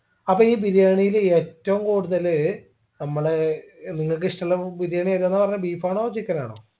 അപ്പൊ ഈ ബിരിയാണിൽ ഏറ്റവും കൂടുതല് നമ്മള് നിങ്ങക്കിഷ്ടമുള്ള ബിരിയാണി ഏതാന്ന പറഞ്ഞെ beef ആണോ chicken ആണോ